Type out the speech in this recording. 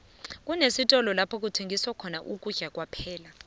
unesitolo lapho kuthengiswa khona ukudla kwaphela